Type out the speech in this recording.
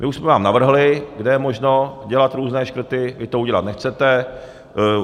My už jsme vám navrhli, kde je možno dělat různé škrty, vy to udělat nechcete.